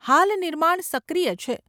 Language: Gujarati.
હાલ નિર્માણ સક્રિય છે.